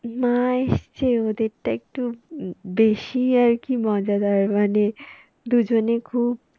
মা এসছে ওদেরটা একটু উম বেশি আর কি মজাদার মানে দুজনে খুব